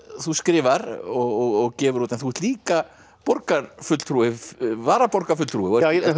þú skrifar og gefur út en þú ert líka borgarfulltrúi varaborgarfulltrúi og